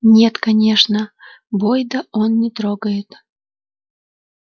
нет конечно бойда он не трогает